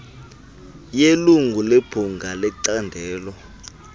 yelungu lebhunga lecandelo